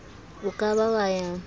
o ka ba wa ya